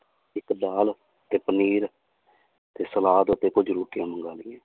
ਇੱਕ ਦਾਲ ਤੇ ਪਨੀਰ ਤੇ ਸਲਾਦ ਅਤੇ ਕੁੱਝ ਰੋਟੀਆਂ ਮੰਗਵਾ ਲਈਆਂ।